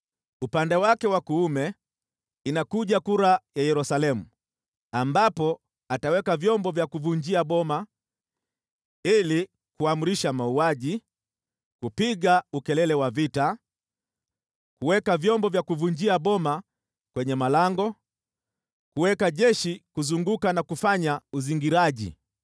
Upande wake wa kuume inakuja kura ya Yerusalemu, ambapo ataweka vyombo vya kuvunjia boma, ili kuamrisha mauaji, kupiga ukelele wa vita, kuweka vyombo vya kuvunjia boma kwenye malango, kuweka jeshi kuzunguka na kufanya uzingiraji.